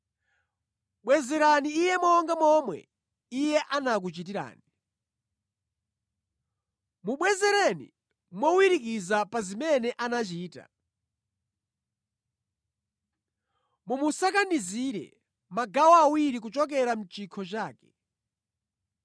Bwezerani Iye monga momwe iye anakuchitirani. Mubwezereni mowirikiza pa zimene anachita. Mumusakanizire magawo awiri kuchokera mʼchikho chake.